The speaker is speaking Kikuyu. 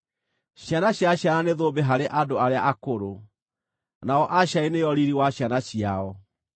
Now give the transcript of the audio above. Ciana cia ciana nĩ thũmbĩ harĩ andũ arĩa akũrũ, nao aciari nĩo riiri wa ciana ciao.